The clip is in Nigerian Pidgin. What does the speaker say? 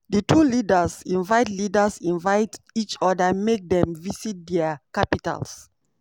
di two leaders invite leaders invite each oda make dem visit dia capitals.